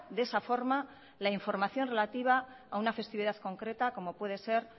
de esa forma la información relativa a una festividad concreta como puede ser